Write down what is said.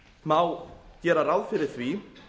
má gera ráð fyrir því